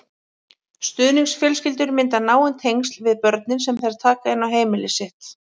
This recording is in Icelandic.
Stuðningsfjölskyldur mynda náin tengsl við börnin sem þær taka inn á heimili sitt.